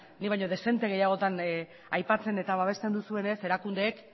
ni baino dezente gehiagotan aipatzen eta babesten duzuenez erakundeek